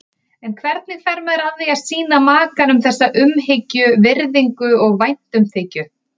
En hvernig fer maður að því að sýna makanum þessa umhyggju, virðingu og væntumþykju?